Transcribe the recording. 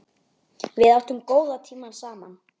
Við áttum góða tíma saman.